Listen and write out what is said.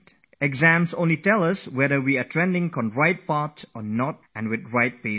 Exams are there to only gauge whether we are going the right way or not, whether we are moving at the right speed or not